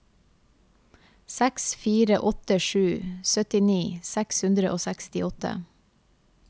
seks fire åtte sju syttini seks hundre og sekstiåtte